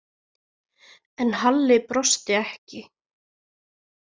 En Halli brosti ekki.